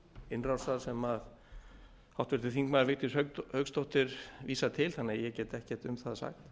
innrásar sem háttvirtur þingmaður vigdís hauksdóttir vísar til þannig að ég get ekkert um það sagt